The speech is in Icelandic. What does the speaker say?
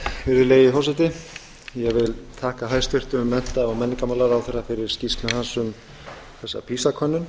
virðulegi forseti ég vil þakka hæstvirtum mennta og menningarmálaráðherra fyrir skýrslu hans um þessa pisa könnun